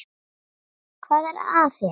Hvað er að þér?